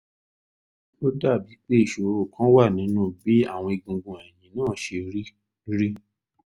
ó dàbíi pé ìṣòro kan wà nínú bí àwọn egungun ẹ̀yìn náà ṣe rí rí